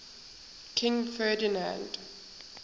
king ferdinand